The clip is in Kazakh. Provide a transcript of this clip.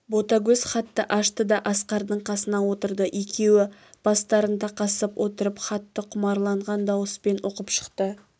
ботагөз хатты ашты да асқардың қасына отырды екеуі бастарын тақасып отырып хатты құмарланған дауыспен оқып шықты